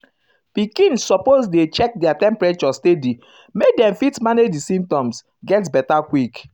pikin suppose um dey check their temperature steady make dem fit manage di symptoms get beta quick.